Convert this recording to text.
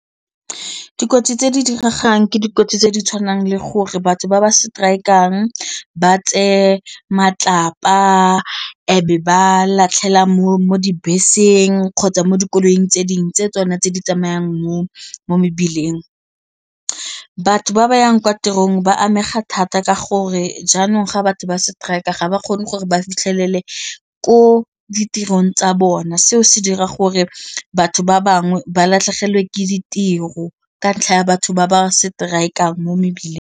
Dikotsi tse di diragalang ke dikotsi tse di tshwanang le gore batho ba ba seteraekang ba tseye matlapa e be ba latlhela mo mo dibeseng kgotsa mo dikoloing tse dingwe tse tsone tse di tsamayang mo mebileng. Batho ba ba yang kwa tirong ba amega thata ka gore jaanong ga batho ba strike ga ba kgone gore ba fitlhelele ko ditirong tsa bona seo se dira gore batho ba bangwe ba latlhegelwe ke ditiro ka ntlha ya batho ba ba strike-ang mo mebileng.